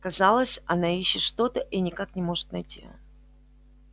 казалось она ищет что то и никак не может найти